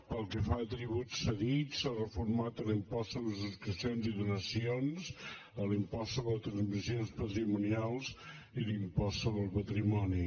pel que fa a tributs cedits s’ha reformat l’impost sobre subscripcions i donacions l’impost sobre transmissions patrimonials i l’impost sobre el patrimoni